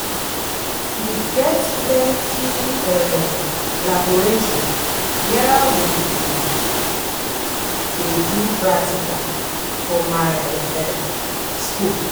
We get plenty um laboratory where we um dey do practical for my high um skool.